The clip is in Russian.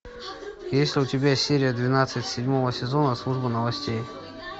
есть ли у тебя серия двенадцать седьмого сезона служба новостей